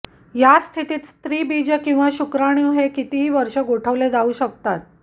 या स्थितीत स्त्रीबीज किंवा शुक्राणू हे कितीही वर्षे गोठवले जाऊ शकतात